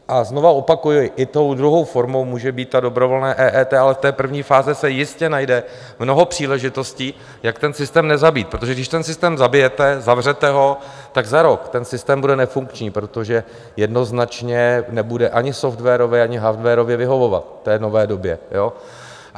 A znova opakuji, i tou druhou formou může být ta dobrovolná EET, ale z té první fáze se jistě najde mnoho příležitostí, jak ten systém nezabít, protože když ten systém zabijete, zavřete ho, tak za rok ten systém bude nefunkční, protože jednoznačně nebude ani softwarově, ani hardwarově vyhovovat v té nové době.